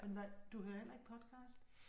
Men hvad du hører heller ikke podcast